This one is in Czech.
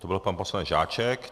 To byl pan poslanec Žáček.